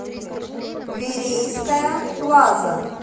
верейская плаза